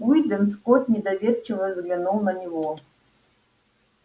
уидон скотт недоверчиво взглянул на него